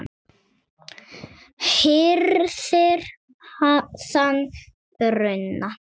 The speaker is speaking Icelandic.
hirðir þann bruna